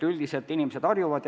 Üldiselt inimesed harjuvad.